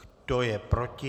Kdo je proti?